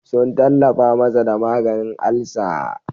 Sun tallafa masa da maganin alsa.